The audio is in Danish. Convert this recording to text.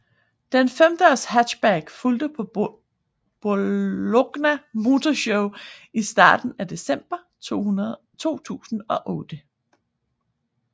Den femdørs hatchback fulgte på Bologna Motor Show i starten af december 2008